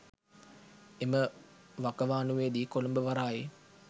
එම වකවානුවේදී කොළඹ වරායේ